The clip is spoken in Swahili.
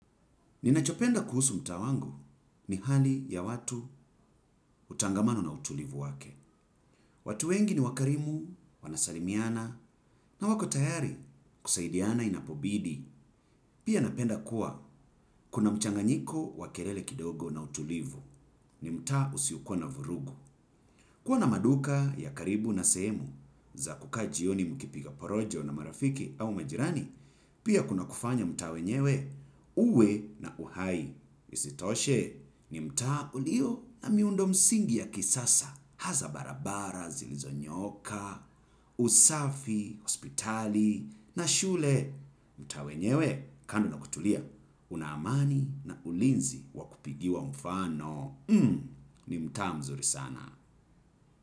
Ninachiopenda kuhusu mtaa wangu ni hali ya watu utangamano na utulivu wake. Watu wengi ni wakarimu, wanasalimiana na wako tayari kusaidiana inapobidi. Pia napenda kuwa kuna mchanganyiko wa kelele kidogo na utulivu ni mtaa usiukua na vurugu. Kua na maduka ya karibu na sehemu za kukaa jioni mukipiga porojo na marafiki au majirani, pia kuna kufanya mtaa wenyewe uwe na uhai. Isitoshe ni mtaa ulio na miundo msingi ya kisasa. Hasa barabara, zilizonyoka, usafi, hospitali na shule. Mtaa wenyewe kando na kutulia una amani na ulinzi wa kupigiwa mfano. Ni mtaa mzuri sana.